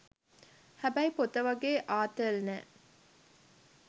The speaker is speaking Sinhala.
හැබැයි පොත වගේ ආතල් නෑ.